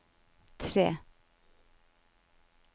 tre